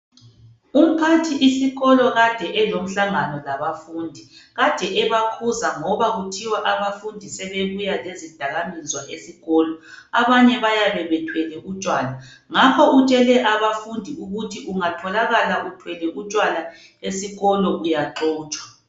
Umphathisikolo kade elomhlangano labafundi. Kade ebakhuza ngoba kuthiwa abafundi sebebuya lezidakamizwa esikolo. Abanye bayabe bethwele utshwala. Ngakho utshele abafundi ukuthi ungatholakala uthwele utshwala esikolo uyaxotshwa.